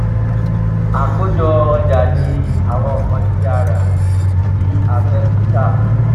àkójọ ọjà ní àwọn nǹkan tí a rà tí a fẹ tún tà